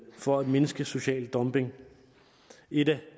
for at mindske social dumping et